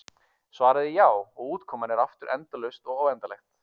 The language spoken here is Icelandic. Svarið er já, og útkoman er aftur endalaust eða óendanlegt.